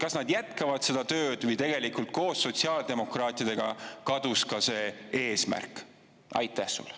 Kas nad jätkavad seda tööd või tegelikult koos sotsiaaldemokraatidega kadus ka see eesmärk?